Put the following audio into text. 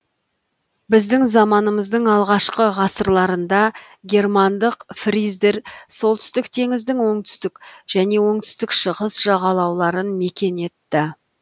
біздің заманымыздың алғашқы ғасырларында германдық фриздер солтүстік теңіздің оңтүстік және оңтүстік шығыс жағалауларын мекен етті